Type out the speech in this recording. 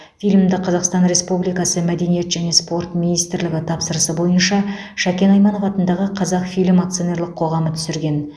фильмді қазақстан республикасы мәдениет және спорт министрлігі тапсырысы бойынша шәкен айманов атындағы қазақфильм акционерлік қоғамы түсірген